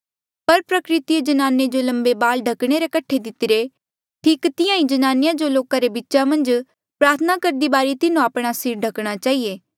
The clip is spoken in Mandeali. पर प्रकृतिए ज्नाने जो लम्बे बाल ओढ़ने रे कठे दितिरे ठीक तिहां ही ज्नानिया जो लोका रे बीचा मन्झ प्रार्थना करदी बारी तिन्हो आपणा सिर ढकणा चहिए